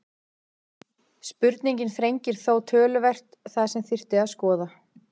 Spurningin þrengir þó töluvert það sem þyrfti að skoða.